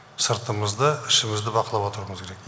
сыртымызды ішімізді бақылап отыруымыз керек